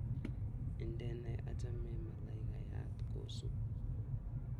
Indene achamin malaikayat kosup